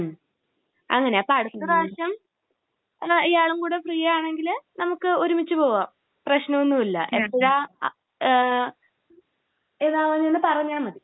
മമ് അങ്ങനെ. അപ്പോ അടുത്ത പ്രാവശ്യം ഇയാളും കൂടെ ഫ്രീ ആണെങ്കിൽ നമുക്ക് ഒരുമിച്ച് പോകാം. പ്രശ്നം ഒന്നും ഇല്ല. എന്താ ഏഹ് ഏതാ എന്ന് പറഞ്ഞാൽ മതി.